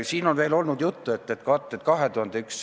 Siin on veel juttu olnud varasemast pensionist.